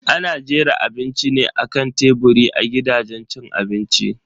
Ana jera abinci ne akan teburi a gidajen cin abinci.